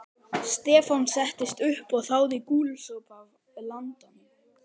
Stefán settist upp og þáði gúlsopa af landanum.